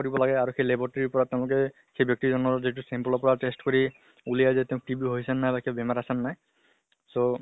দিব লাগে আৰু সেই laboratory ৰ পৰা তেওঁলোকে সেই ব্য়ক্তি জনৰ যিটো sample ৰ পৰা test কৰি উলিয়াই দিয়ে তেওঁৰ TB হৈছে নে নাই বা কিবা বেমাৰ আছে নে নাই so